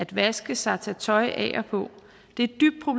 vaske sig tage tøj af og på det